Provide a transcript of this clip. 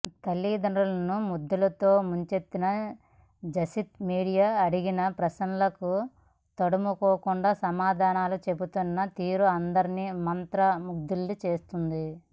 తల్లిదండ్రులను ముద్దులతో ముంచెత్తిన జసిత్ మీడియా అడిగిన ప్రశ్నలకు తడుముకోకుండా సమాధానాలు చెబుతున్న తీరు అందరినీ మంత్ర ముగ్ధుల్ని చేసింది